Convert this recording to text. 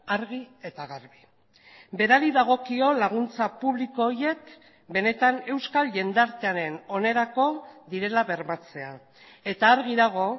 argi eta garbi berari dagokio laguntza publiko horiek benetan euskal jendartearen onerako direla bermatzea eta argi dago